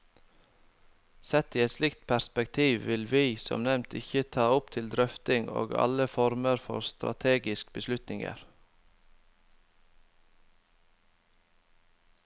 Sett i et slikt perspektiv vil vi, som nevnt, ikke ta opp til drøfting alle former for strategiske beslutninger.